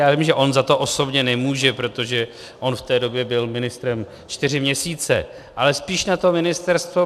Já vím, že on za to osobně nemůže, protože on v té době byl ministrem čtyři měsíce, ale spíš na to ministerstvo.